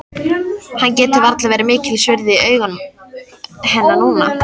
Hann getur varla verið mikils virði í augum hennar núna.